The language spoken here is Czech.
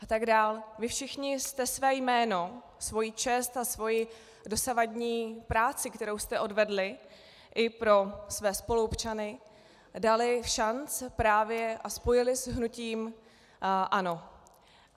Vy všichni jste své jméno, svoji čest a svoji dosavadní práci, kterou jste odvedli i pro své spoluobčany, dali všanc právě a spojili s hnutím ANO.